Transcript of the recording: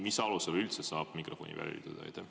Mis alusel üldse saab mikrofoni välja lülitada?